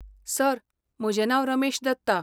Sir, म्हजें नांव रमेश दत्ता.